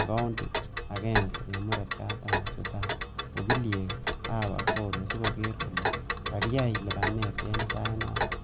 akoundit agenge en murot katam Sudan ak okiliek ab Appolo sikoker kole kakiyai lipanet en sainoton.